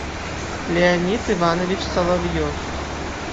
леонид иванович соловьев